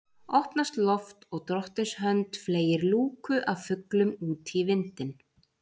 Opnast loft og drottins hönd fleygir lúku af fuglum út í vindinn